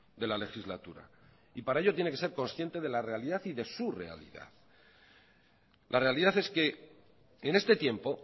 de la legislatura y para ello tiene que ser consciente de la realidad y de su realidad la realidad es que en este tiempo